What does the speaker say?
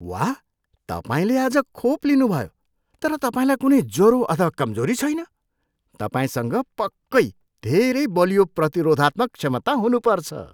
वाह! तपाईँले आज खोप लिनुभयो तर तपाईँलाई कुनै ज्वरो अथवा कमजोरी छैन। तपाईँसँग पक्कै धेरै बलियो प्रतिरोधात्मक क्षमता हुनुपर्छ!